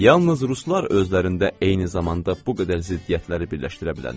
Yalnız ruslar özlərində eyni zamanda bu qədər ziddiyyətləri birləşdirə bilərlər.